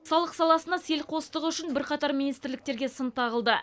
салық саласына селқостығы үшін бірқатар министрліктерге сын тағылды